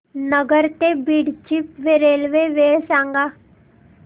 नगर ते बीड ची रेल्वे वेळ सांगा